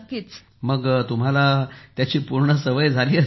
मग त्या बाबतीत तुम्हाला समस्या नाही आली